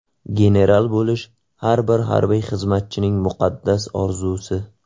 General bo‘lish har bir harbiy xizmatchining muqaddas orzusi.